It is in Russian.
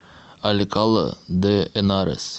алькала де энарес